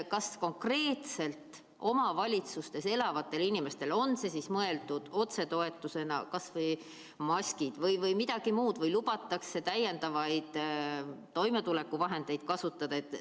Kas konkreetselt omavalitsustes elavatele inimestele, on see siis mõeldud otsetoetusena, kas või maskid, või midagi muud või lubatakse täiendavaid toimetulekuvahendeid kasutada?